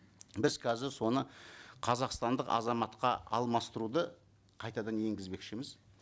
біз қазір соны қазақстандық азаматқа алмастыруды қайтадан енгізбекшіміз